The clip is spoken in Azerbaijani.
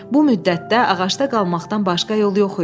Bu müddətdə ağacda qalmaqdan başqa yol yox idi.